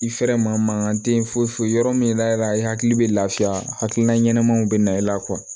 I fɛrɛ maa mankan tɛ foyi foyi yɔrɔ min layɛra i hakili bɛ lafiya hakilina ɲɛnamaw bɛ na e la